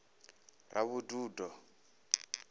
ravhududo